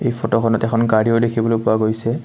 এই ফটোখনত এখন গাড়ীও দেখিবলৈ পোৱা গৈছে।